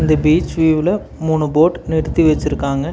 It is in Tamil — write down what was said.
இந்த பீச் வியூவ்ல மூனு போர்ட் நிறுத்தி வெச்சுருக்காங்க.